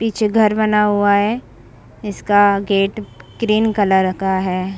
पीछे घर बना हुआ है। इसका गेट ग्रीन कलर का है।